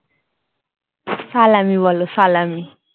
সালামী বল সালামী